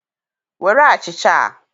Were achịcha a.